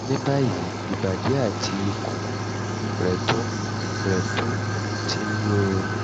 ní báyìí ìbàdí àti ikùn rẹ̀ tún rẹ̀ tún ti ń yún un